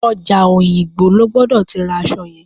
Ọjà Òyìngbò lo gbọ́dọ̀ ti ra aṣọ yẹn.